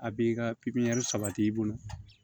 A b'i ka sabati i bolo